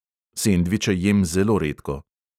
Sendviče jem zelo redko.